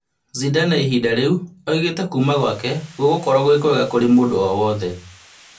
Zidane ihinda rĩu oigĩte kuma gwake gũgũkorwo gwĩkwega kũrĩ mũndũ o wothe